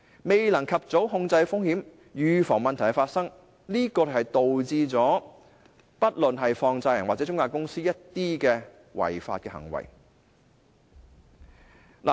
未能及早控制風險，預防問題發生，就導致不論是放債人或中介公司作出的一些違法行為。